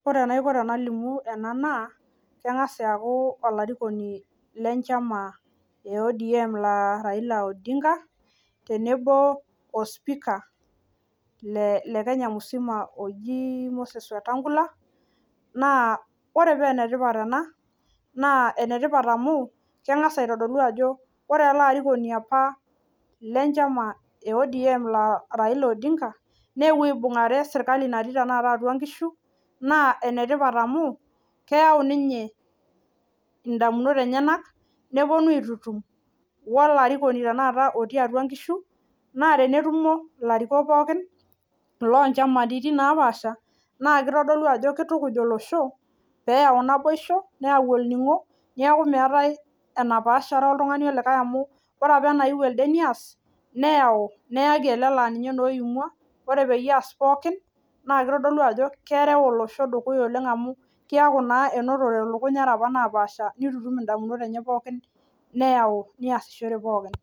Wore enaiko tenalimu ena naa, kengas aaku olarikoni lenchama e ODM Raila Odinga, tenebo o spika le Kenya misima oji Moses Wetangula, naa wore paa enetipat ena, naa enetipat amu, kengas aitodolu ajo wore ele arikoni apa lenchama e ODM Raila Odinga, neewuo aibungare serkali natii tanakata atua inkishu, naa enetipat amu, keyau ninye indamunot enyanak, neponu aititum wolarikoni tenakata otii atua inkishu. Naa tenetumo ilarikok pookin, iloonchamaritin loopaasha, naa kitodolu ajo kitukuj olosho, pee eyau naboisho, nayau olningo, neeku meeta enapaashare oltungani olikae amu wore apa enayieu elde neas, neyaki ele naa ninye naa oimua. Wore peyie eas pookin naa kitodolu ajo kerau olosho dukuya amu, keaku naa inotote ilukuny apa naapaasha nitutum indamunot enye pookin neyau, neasishore pookin.